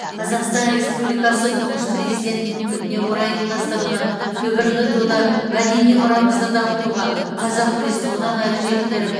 қазақстан республикасы тұңғыш президентінің күніне орай ұйымдастырылған дүбірлі дода мәдени мұрамызды дамытуға қазақ күресін одан ары жетілдіріп